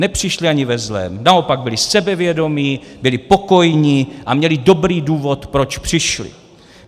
Nepřišli ani ve zlém, naopak, byli sebevědomí, byly pokojní a měli dobrý důvod, proč přišli.